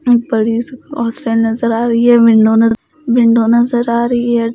Hostel नजर आ रही है विंडो न विंडो नजर आ रही है।